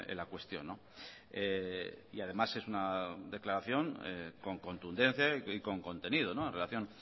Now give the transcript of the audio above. la cuestión y además es una declaración con contundencia y con contenido en relación